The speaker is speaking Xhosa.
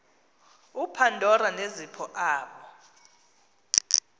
upandora nezipho aba